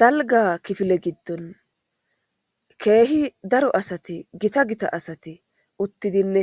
dalga kifile giddon keehi daro asati gita gita asati uttidinne